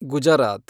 Gujarat